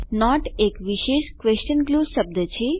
not એક વિશેષ question ગ્લુઝ શબ્દ છે